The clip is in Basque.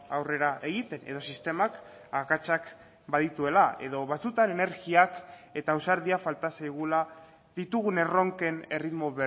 aurrera egiten edo sistemak akatsak badituela edo batzuetan energiak eta ausardia falta zaigula ditugun erronken erritmo